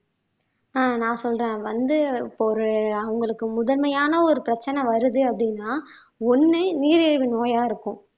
ஆஹ் நான் சொல்றேன் வந்து இப்போ ஒரு அவங்களுக்கு முதன்மையான ஒரு பிரச்சனை வருது அப்படின்னா ஒண்ணு நீரிழிவு நோயா இருக்கும்